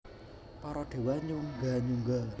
Para déwa nyungga nyungga